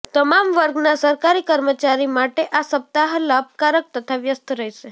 તમામ વર્ગના સરકારી કર્મચારી માટે આ સપ્તાહ લાભકારક તથા વ્યસ્ત રહેશે